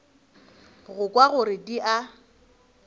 go kwa gore di a